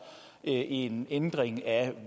en ændring af